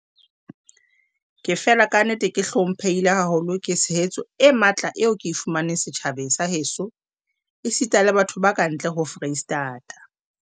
"Ke fela kannete ke hlomphehile haholo ke tshehetso e matla eo ke e fumaneng setjhabeng sa heso esita le bathong ba ka ntle ho Freistata."